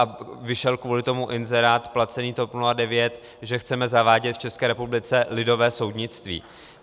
A vyšel kvůli tomu inzerát placený TOP 09, že chceme zavádět v České republice lidové soudnictví.